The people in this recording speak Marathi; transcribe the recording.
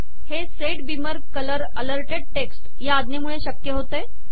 हे set beamer colour alerted text या आज्ञेमुळे शक्य होते